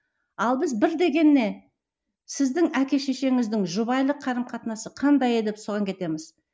ал біз бір дегеннен сіздің әке шешеңіздің жұбайлық қарым қатынасы қандай еді деп соған кетеміз